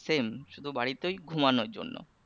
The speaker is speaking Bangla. Same শুধু বাড়িতে ওই ঘুমানোর জন্য